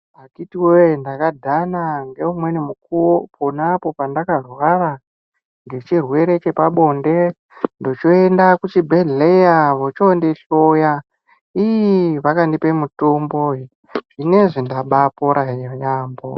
Akhiti voye ndakadhana ngeumweni mukuvo ponapo pandakarwara nechirwere chepabonde, ndichionda kuchibhedhleya vochondihloya iii vakandipe mutombo zvinoizvi ndabapora yaambo.